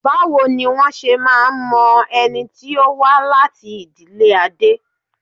Báwo ni wọ́n ṣe máa ń mọ ẹni tí ó wá láti ìdílé Adé?